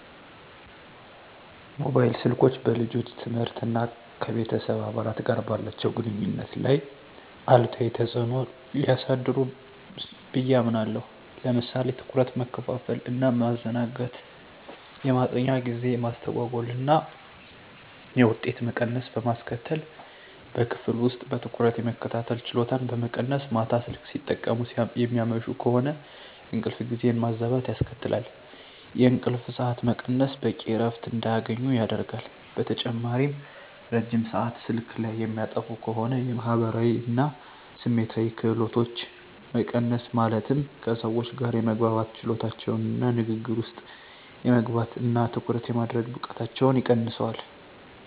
ሞባይል ስልኮች በልጆች ትምህርት እና ከቤተሰብ አባላት ጋር ባላቸው ግንኙነት ላይ አሉታዊ ተጽዕኖ ሊያሳድሩ ብየ አምናለሁ። ለምሳሌ ትኩረት መከፋፈል እና ማዘናጋት፣ የማጥኛ ጊዜ መስተጓጎል እና የውጤት መቀነስ በማስከትል፣ በክፍል ውስጥ በትኩረት የመከታተል ችሎታን በመቀነስ፣ ማታ ስልክ ሲጠቀሙ የሚያመሹ ከሆነ እንቅልፍ ጊዜን ማዛባት ያስከትላል፣ የእንቅልፍ ሰዓት መቀነስ በቂ እረፍት እንዳያገኙ ያደርጋል። በተጨማሪም ረጅም ሰአት ስልክ ላይ የሚያጠፉ ከሆነ የማህበራዊ እና ስሜታዊ ክህሎቶች መቀነስ ማለትም ከሰዎች ጋር የመግባባት ችሎታቸውን እና ንግግር ውስጥ የመግባት እና ትኩረት የማድረግ ብቃታቸውን ይቀንሰዋል።